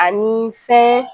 ani fɛn